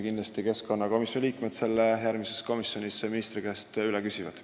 Kindlasti küsivad keskkonnakomisjoni liikmed seda järgmisel korral ministri käest veel kord.